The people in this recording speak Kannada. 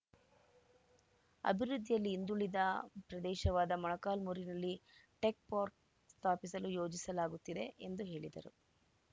ಅಭಿವೃದ್ಧಿಯಲ್ಲಿ ಹಿಂದುಳಿದ ಪ್ರದೇಶವಾದ ಮೊಳಕಾಲ್ಮುರಿನಲ್ಲಿ ಟೆಕ್‌ ಪಾರ್ಕ್ ಸ್ಥಾಪಿಸಲು ಯೋಜಿಸಲಾಗುತ್ತಿದೆ ಎಂದು ಹೇಳಿದರು